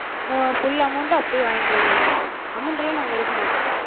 full amount ட அப்டியே வாங்கிகளா நீங்க. amount எல்லா நாங்க எடுக்க மாட்டோ.